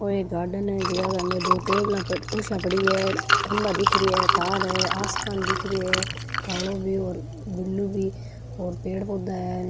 ओ एक गार्डन है जीके के अंदर एक टेबल खुर्सिया पड़ी है खम्भा दिख रही है तार है आसमान दिख रो है कालो भी और ब्लू भी और पेड़ पौधा है।